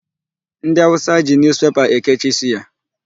Ndị awụsa ji Newspaper ekechi suya.